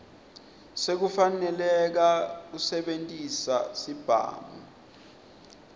sekufaneleka kusebentisa sibhamu